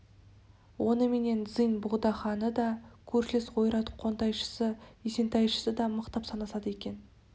оныменен цзинь богдаханы да көршілес ойрат қонтайшысы исентайшы да мықтап санасады екен